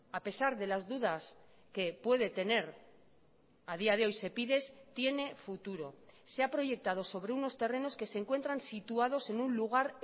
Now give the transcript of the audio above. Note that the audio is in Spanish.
a pesar de las dudas que puede tener a día de hoy sepides tiene futuro se ha proyectado sobre unos terrenos que se encuentran situados en un lugar